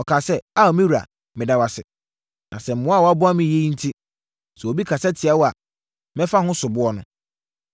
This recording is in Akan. Ɔkaa sɛ, “Ao, me wura, meda wo ase. Na sɛ mmoa a woaboa me yi enti, sɛ obi kasa tia wo a, mɛfa ho soboɔ no.”